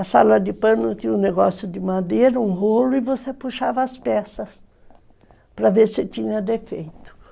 A sala de pano tinha um negócio de madeira, um rolo, e você puxava as peças para ver se tinha defeito.